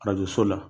Arajo so la